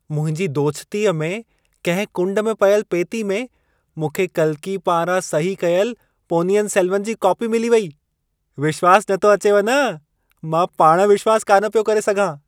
मुंहिंजी दोछितीअ में कंहिं कुंड में पयलु पेती में मूंखे कल्की पारां सही कयलु पोनियन सेलवन जी काॅपी मिली वेई। विश्वास नथो अचेव न!मां पाण विश्वास कान पियो करे सघां!